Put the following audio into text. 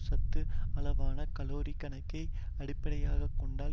சத்து அளவான கலோரிக் கணக்கை அடிப்படையாக கொண்டால்